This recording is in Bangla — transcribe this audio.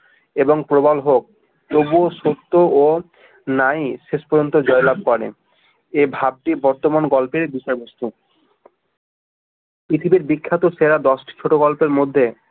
এবং প্রবল হোক তবুও সত্য ও নাই শেষ পর্যন্ত জয়লাভ করে এ ভাব টি বর্তমান গল্পের বিষয়বস্তু পৃথিবীর বিখ্যাত সেরা দশ টি ছোট গল্পের মধ্যে